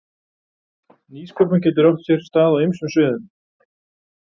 Nýsköpun getur átt sér stað á ýmsum sviðum.